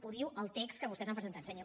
ho diu el text que vostès han presentat senyor